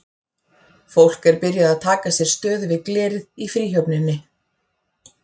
Fólk er byrjað að taka sér stöðu við glerið í Fríhöfninni.